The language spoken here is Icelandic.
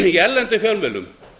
í erlendum fjölmiðlum